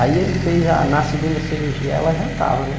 Aí ele fez a, na segunda cirurgia ela já estava, né?